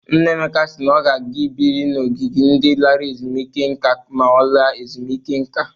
Nna Emeka si na ọ ga-aga biri n'ogige ndị lara ezumeike nka ma ọ laa ezumụike nka.